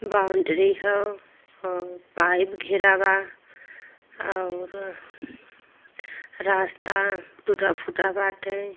boundary होअ pipe घेरा बा और रास्ता टूटा-फूटा बाटे --